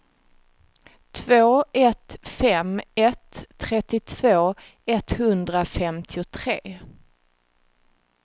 två ett fem ett trettiotvå etthundrafemtiotre